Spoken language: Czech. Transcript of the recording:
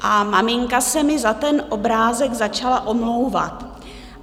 A maminka se mi za ten obrázek začala omlouvat.